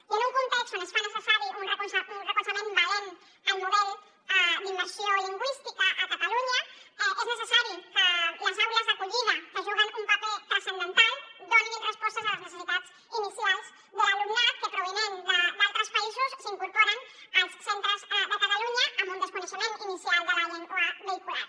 i en un context on es fa necessari un recolzament valent al model d’immersió lingüística a catalunya és necessari que les aules d’acollida que hi juguen un paper transcendental donin respostes a les necessitats inicials de l’alumnat que provinent d’altres països s’incorpora als centres de catalunya amb un desconeixement inicial de la llengua vehicular